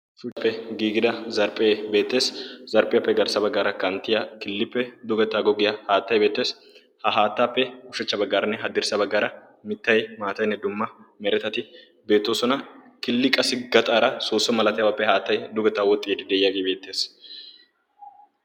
kehiippe giigida zarphphee beettees zarphpiyaappe garssa baggaara kanttiya killiippe dugeta goggiyaa haattai beettees. ha haattaappe ushachcha baggaaranne haddirssa baggaara mittay maatayinne dumma meretati beettoosona killi qasi gaxaara soosso malatiyaabaappe haattai dugetaa woxxii de'iyaagii beettees.